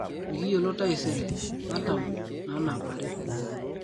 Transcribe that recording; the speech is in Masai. Mikiyiolo teseire matam nanapari